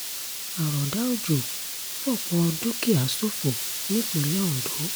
àròdà òjò fọ́pọ̀ dúkìá ṣòfò nípínlẹ̀ ondo